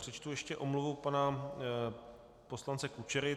Přečtu ještě omluvu pana poslance Kučery.